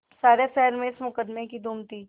सारे शहर में इस मुकदमें की धूम थी